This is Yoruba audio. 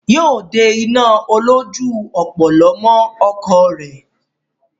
Yóò de iná olójú ọ̀pọ̀lọ́ mọ́ ọkọ̀ rẹ̀.